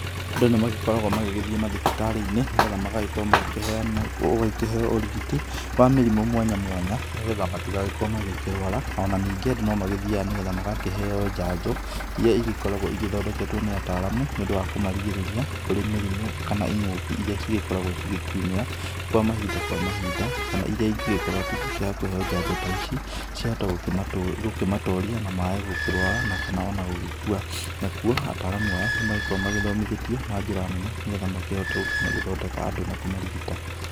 Andũ nĩmagĩkoragwo magĩgĩthiĩ mathibitarĩ-inĩ, nigetha magagĩkorwo magĩkĩheanwo, ũgagĩkĩheo ũrigiti, wa mĩrimũ mwanya mwanya, nĩgetha matĩgagĩkorwo magĩkĩrwara. Na nĩngĩ Andũ nomagĩthiaga nĩgetha magakĩheo njanjo iria igĩkoragwo igĩthondeketwo nĩ ataramu, nĩũndũ wa kũmarigĩrĩria kũrĩ mĩrimũ kana ing'ũki iria cigĩkoragwo cigĩkiumĩra kwa mahinda kwa mahinda, kana iria ingĩgĩkorwo atĩ ingĩkĩaga kũheo njanjo ta ici ciahota gũkĩmatoria na mae gukĩrwara na kana ona gũgĩkua. Nakuo ataramu aya nĩmagĩkoragwo magĩthomithĩtio na njĩra nene, nĩgetha makĩhote gũkorwo magĩthondeka Andũ na kũmarigita.